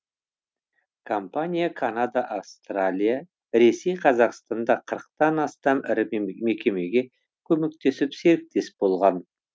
компания канада австралия ресей қазақстанда қырықтан астам ірі мекемеге көмектесіп серіктес болған